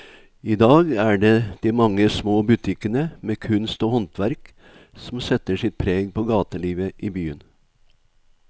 I dag er det de mange små butikkene med kunst og håndverk som setter sitt preg på gatelivet i byen.